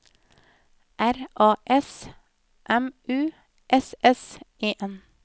R A S M U S S E N